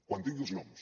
quan tingui els noms